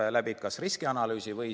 Aga siiski, see eeldab riskianalüüsi.